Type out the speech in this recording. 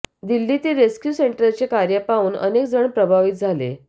दिल्लीतील रेस्क्यू सेंटरचे कार्य पाहून अनेक जण प्रभावित झाले